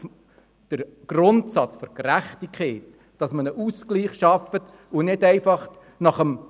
Der Grundsatz der Gerechtigkeit, dass ein Ausgleich geschaffen wird, ist wichtig.